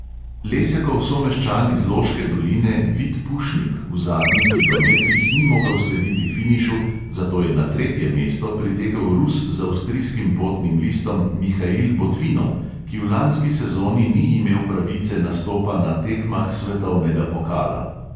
Lesjakov someščan iz loške doline, vid pušnik v zadnjih kilometrih ni mogel slediti finišu, zato je na tretje mesto pritekel rus z avstrijskim potnim listom mihail botvinov, ki v lanski sezoni ni imel pravice nastopa na tekmah svetovnega pokala.